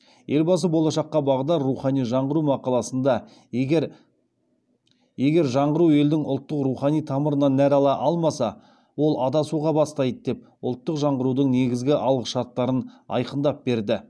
елбасы болашаққа бағдар рухани жаңғыру мақаласында егер жаңғыру елдің ұлттық рухани тамырынан нәр ала алмаса ол адасуға бастайды деп ұлттық жаңғырудың негізгі алғышарттарын айқындап берді